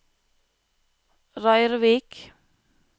Røyrvik